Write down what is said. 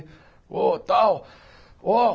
Ô, tal! ô